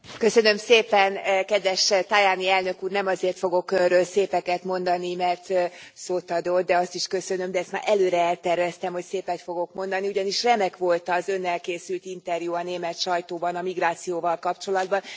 Köszönöm szépen kedves Tajani elnök úr, nem azért fogok önről szépeket mondani mert szót adott, de azt is köszönöm, de ezt már előre elterveztem, hogy szépet fogok mondani, ugyanis remek volt az önnel készült interjú a német sajtóban a migrációval kapcsolatban.